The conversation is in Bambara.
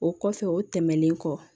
O kɔfɛ o tɛmɛnen kɔ